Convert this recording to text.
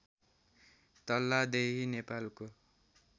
तल्लादेही नेपालको